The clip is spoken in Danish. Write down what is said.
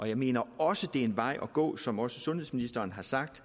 jeg mener også det er en vej at gå som også sundhedsministeren har sagt